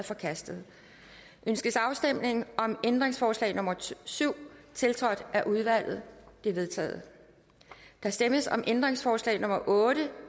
forkastet ønskes afstemning om ændringsforslag nummer syv tiltrådt af udvalget det er vedtaget der stemmes om ændringsforslag nummer otte